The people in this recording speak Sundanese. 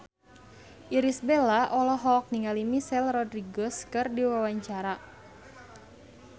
Irish Bella olohok ningali Michelle Rodriguez keur diwawancara